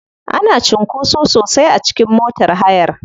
Ana cunkoso sosai a cikin motar hayar.